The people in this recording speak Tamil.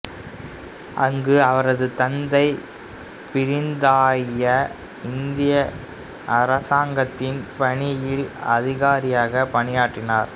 அங்கு அவரது தந்தை பிரித்தானிய இந்திய அரசாங்கத்தின் பணியில் அதிகாரியாக பணியாற்றினார்